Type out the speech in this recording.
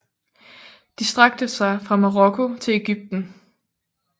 De strakte sig fra Marokko til Ægypten